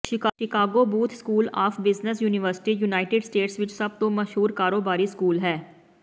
Chicago booth school of business university United States ਵਿਚ ਸਭ ਤੋਂ ਮਸ਼ਹੂਰ ਕਾਰੋਬਾਰੀ ਸਕੂਲ ਹੈ